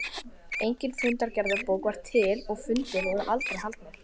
Engin fundargerðarbók var til og fundir voru aldrei haldnir.